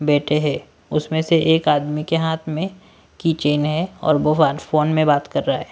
बैठे हैं उसमें से एक आदमी के हाथ में की चेन है और वो फोन में बात कर रहा है।